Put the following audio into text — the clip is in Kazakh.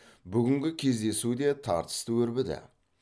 бүгінгі кездесу де тартысты өрбіді